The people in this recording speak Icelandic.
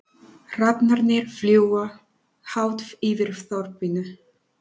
Hrafnarnir fljúga hátt yfir þorpinu.